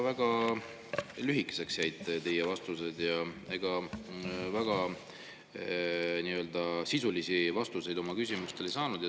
Väga lühikeseks jäid teie vastused ja ega väga sisulisi vastuseid me oma küsimustele ei saanud.